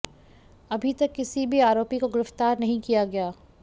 अभी तक किसी भी आरोपी को गिरफ्तार नहीं किया गया